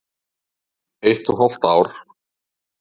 Eitt og hálft ár.